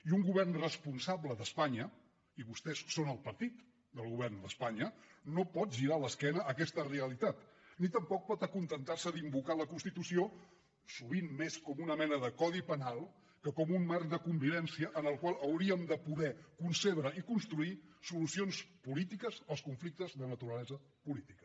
i un govern responsable d’espanya i vostès són el partit del govern d’espanya no pot girar l’esquena a aquesta realitat ni tampoc pot acontentar se d’invocar la constitució sovint més com una mena de codi penal que com un marc de convivència en el qual hauríem de poder concebre i construir solucions polítiques als conflictes de naturalesa política